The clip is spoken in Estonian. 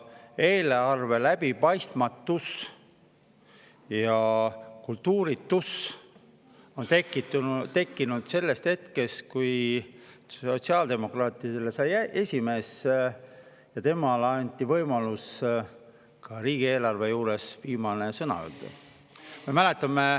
Eelarve läbipaistmatus ja kultuuritus tekkis sellest hetkest, kui sotsiaaldemokraatide esimehele anti võimalus riigieelarve juures viimane sõna öelda.